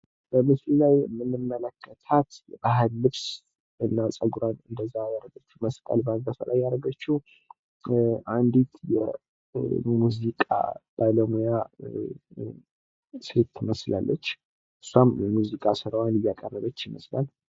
በምስሉ ላይ የምንመለከታት የባህል ልብስ እና ፀጉሯን ወደዛ ያደረገች እና መስቀል ባገቷ ያደረገችው አንዲት የሙዚቃ ባለሙያ ሴት ትመስላለች እሷም የሙዚቃ ስራዋን እያቀረበች ይመስላል።